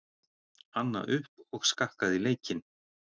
Anna upp og skakkaði leikinn.